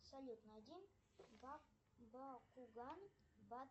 салют найди бакуган